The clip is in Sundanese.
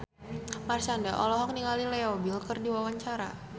Marshanda olohok ningali Leo Bill keur diwawancara